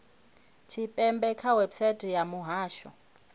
tshipembe kha website ya muhasho